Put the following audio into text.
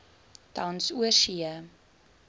tans oorsee